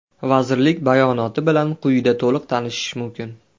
Vazirlik bayonoti bilan quyida to‘liq tanishish mumkin.